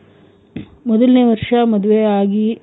ಮೊದಲ್ನೇ ವರ್ಷ ಮದುವೆ ಆಗಿ.